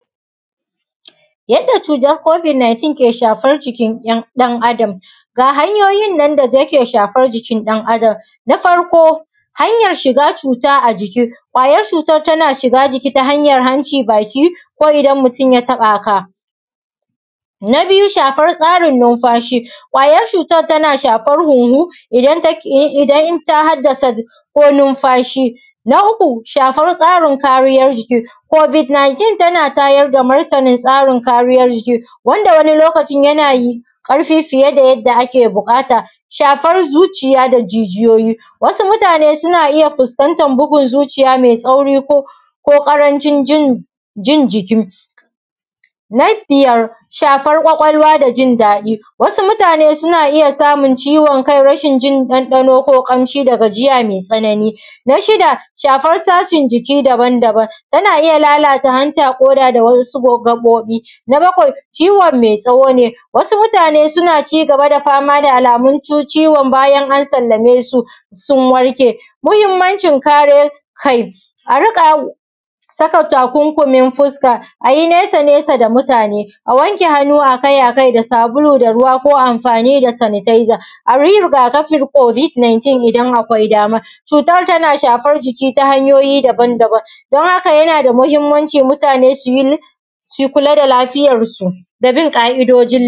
yadda cutar covid 19 ke shafar jikin ɗan adam ga hanyoyin nan da yake shafar jikin ɗan adam na farko hanyar shiga cuta a jiki ƙwayar cutar tana shiga jiki ta hanyar hanci baki ko idan mutum ya taɓa ka na biyu shafar tsarin numfashi ƙwayar cutar tana shafan huhu idan ta haddasa ko numfashi na uku shafar tsarin kariyar jiki covid 19 tana tana tayar da martanin tsarin kariyar jiki wanda wani lokacin yana yin ƙarfi fiye da yadda ake buƙata shafar zuciya da jijiyoyi xxx wasu mutane suna iya fuskantar bugun zuciya mai tsauri ko ko ƙarancin jin jiki na biyar shafar ƙwaƙwalwa da jin daɗi wasu mutane suna iya samun ciwon kai rashin jin ɗanɗano ko ƙamshi da gajiya mai tsanani na shida shafar sashin jiki daban daban tana iya lalata hanta ƙoda da wasu gaɓoɓi na bakwai ciwon mai tsawo ne wasu mutane suna ci gaba da fama da alamun ciwon bayan an sallame su sun warke muhimmancin kare kai a riƙa saka takunkumin fuska a yi nesa nesa da mutane a wanke hannu a kai a kai da sabulu da ruwa ko amfani da sanitizer a yi riga kafin covid 19 in akwai dama cutar tana shafar jiki ta hanyoyi daban daban don haka yana da muhimmanci mutane su yi su kula da lafiyarsu da bin ƙa’idoji